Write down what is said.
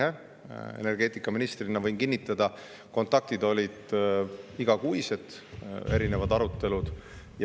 Energeetika eest vastutanud ministrina võin kinnitada, et kontaktid olid igakuised, olid erinevad arutelud.